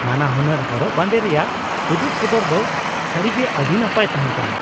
ᱱᱟᱱᱟᱦᱩᱱᱟᱹᱨ ᱦᱚᱨᱚᱜ ᱵᱟᱸᱫᱮ ᱨᱮᱭᱟᱜ ᱩᱫᱩᱜ ᱥᱚᱫᱚᱨ ᱫᱚ ᱥᱟᱹᱨᱤᱜᱮ ᱟᱹᱰᱤ ᱱᱟᱯᱟᱭ ᱛᱟᱦᱮᱸ ᱠᱟᱱᱟ ᱾